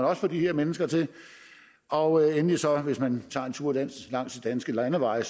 også få de her mennesker til og endelig hvis man tager en tur langs de danske landeveje